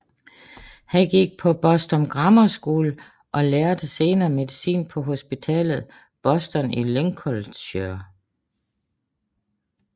Han gik på Boston Grammar School og lærte senere medicin på hospitalet i Boston i Lincolnshire